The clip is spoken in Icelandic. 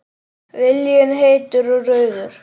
Viljinn heitur og rauður.